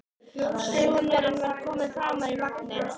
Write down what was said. Sonurinn var kominn framar í vagninn.